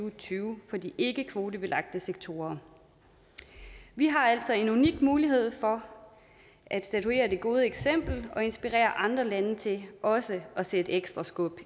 og tyve for de ikkekvotebelagte sektorer vi har altså en unik mulighed for at statuere det gode eksempel og inspirere andre lande til også at sætte ekstra skub